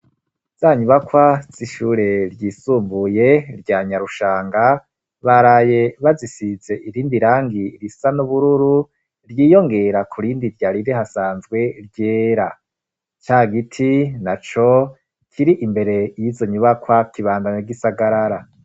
zanyubakwa z'ishure ryisumbuye rya nyarushanga baraye bazisitse irindi rangi risa n'ubururu ryiyongera ku rindi ryarire hasanzwe ryera ca giti naco kirimbere yizo nyubakwa kibandanya g'isagarara